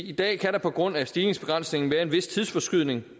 i dag kan der på grund af stigningsbegrænsningen være en vis tidsforskydning